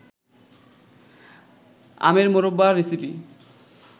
আমের মোরব্বা রেসিপি